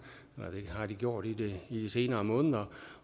det har de gjort i de senere måneder